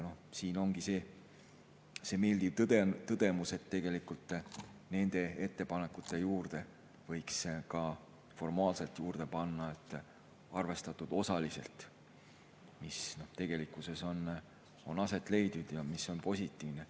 Siin ongi meeldiv tõdeda, et tegelikult nende ettepanekute juurde võiks formaalselt panna "arvestatud osaliselt", mis tegelikkuses on aset leidnud ja mis on positiivne.